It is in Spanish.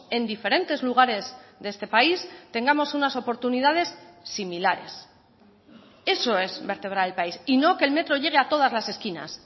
en diferentes lugares de este país tengamos unas oportunidades similares eso es vertebrar el país y no que el metro llegue a todas las esquinas